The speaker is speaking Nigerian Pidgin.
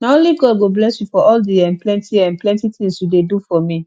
na only god go bless you for all di um plenty um plenty tins you dey do for me